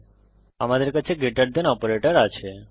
এখন আমাদের কাছে গ্রেটার দেন অপারেটর আছে